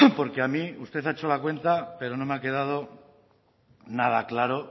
porque a mí usted ha hecho la cuenta pero no me ha quedado nada claro